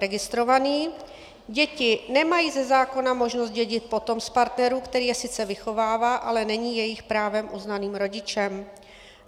Registrovaní - děti nemají ze zákona možnost dědit po tom partnerů, který je sice vychovává, ale není jejich právem uznaným rodičem.